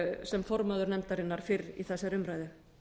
sem formaður nefndarinnar fyrr í þessari umræðu